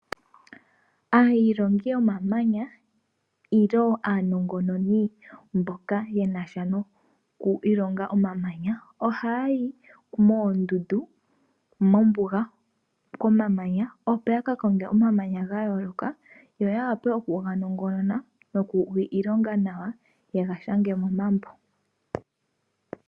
Aailongi yomamanya nenge aanongononi mboka yena sha nokwiilonga omamanya ohaya yi moondunda mombuga komamanya opo yaka konge omamanya gayooloka yo ya vule okuganongonona nokuga ilonga nawa yega shange momambo.